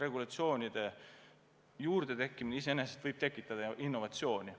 Regulatsioonide juurdetekkimine iseenesest võib tekitada innovatsiooni.